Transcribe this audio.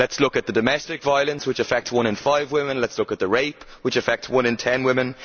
Let us look at the domestic violence which affects one in five women, let us look at rape which affects one in 10 women.